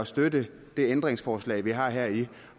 støtte det ændringsforslag vi har her